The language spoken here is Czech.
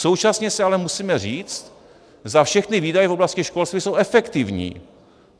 Současně si ale musíme říct, zda všechny výdaje v oblasti školství jsou efektivní.